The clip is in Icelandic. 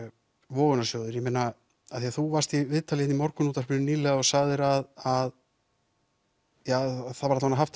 vogunarsjóðir af því þú varst í viðtali í Morgunútvarpinu nýlega og sagðir að eða það var haft